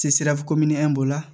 sira komi la